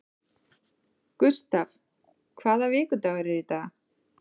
Gustav, hvaða vikudagur er í dag?